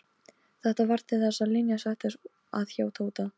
Þetta varð til þess að Linja settist að hjá Tóta.